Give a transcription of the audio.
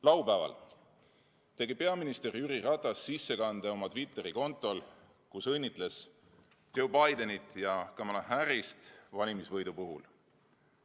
Laupäeval tegi peaminister Jüri Ratas sissekande oma Twitteri kontol, kus õnnitles Joe Bidenit ja Kamala Harrist valimisvõidu puhul.